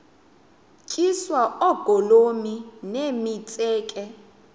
tyiswa oogolomi nemitseke